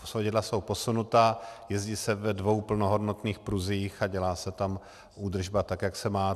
Svodidla jsou posunuta, jezdí se ve dvou plnohodnotných pruzích a dělá se tam údržba, tak jak se má.